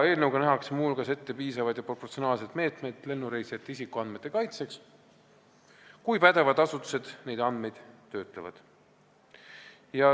Eelnõuga nähakse muu hulgas ette piisavad ja proportsionaalsed meetmed lennureisijate isikuandmete kaitseks, kui pädevad asutused neid andmeid töötlevad.